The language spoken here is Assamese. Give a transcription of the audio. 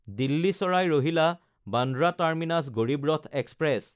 দিল্লী চাৰাই ৰহিলা–বান্দ্ৰা টাৰ্মিনাছ গড়ীব ৰথ এক্সপ্ৰেছ